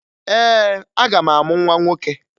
Ee, aga m amụ nwa nwoke